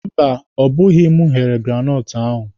Mba, ọ bụghị m ghere granọtụ ahụ.